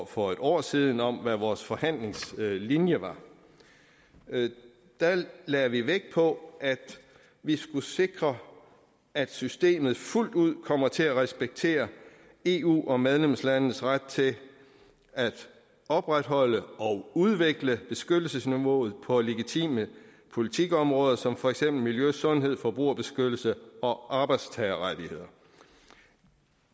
for et år siden om hvad vores forhandlingslinje var der lagde vi vægt på at vi skulle sikre at systemet fuldt ud kommer til at respektere eu og medlemslandenes ret til at opretholde og udvikle beskyttelsesniveauet på legitime politikområder som for eksempel miljø sundhed forbrugerbeskyttelse og arbejdstagerrettigheder